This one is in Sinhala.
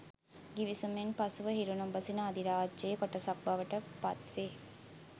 ගිවිසුමෙන් පසුව හිරු නොබසින අධිරාජ්‍යයයේ කොටසක් බවට පත් වේ